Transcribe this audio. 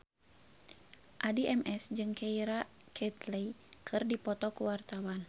Addie MS jeung Keira Knightley keur dipoto ku wartawan